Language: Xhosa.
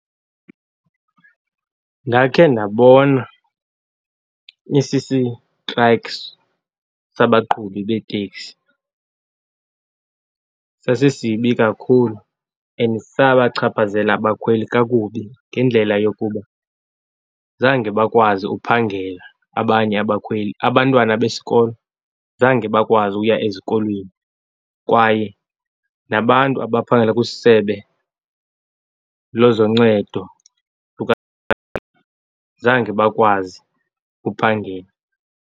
Ndakhe ndabona isisitrayikhi sabaqhubi beeteksi. Sasisibi kakhulu and sabachaphazela abakhweli kakubi ngendlela yokuba zange bakwazi ukuphangela abanye abakhweli. Abantwana besikolo zange bakwazi ukuya ezikolweni, kwaye nabantu abaphangela kwisebe lezoncedo zange bakwazi ukuphangela.